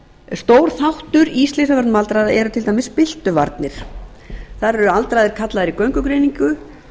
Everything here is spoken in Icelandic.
stór þáttur í slysavörnum aldraðra eru til dæmis byltuvarnir þar eru aldraðir kallaðir í göngugreiningu